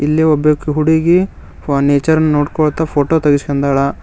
ಇಲ್ಲಿ ಒಬ್ಬ ಹುಡುಗಿ ಫೊ ನೇಚರ್ ನೋಡಿಕೊಳ್ಳುತ್ತಾ ಫೋಟೋ ತೆಗೆಸಿಕೊಂಡಾಳ.